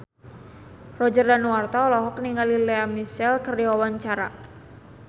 Roger Danuarta olohok ningali Lea Michele keur diwawancara